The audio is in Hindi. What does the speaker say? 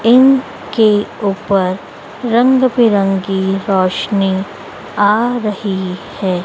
इन के ऊपर रंग बिरंगी रोशनी आ रही है।